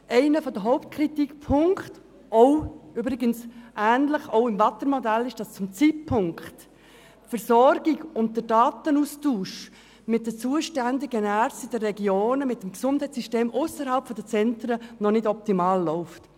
Einer der Hauptkritikpunkte – übrigens in ähnlicher Form auch des Waadtländer Modells – besteht darin, dass die Versorgung und der Datenaustausch mit den zuständigen Ärzten in den Regionen, also mit dem Gesundheitssystem ausserhalb der Zentren, zum jetzigen Zeitpunkt noch nicht optimal laufen.